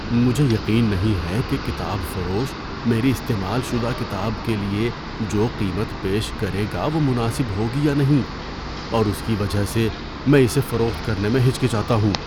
مجھے یقین نہیں ہے کہ کتاب فروش میری استعمال شدہ کتاب کے لیے جو قیمت پیش کرے گا وہ مناسب ہوگی یا نہیں، اور اس کی وجہ سے میں اسے فروخت کرنے میں ہچکچاتا ہوں۔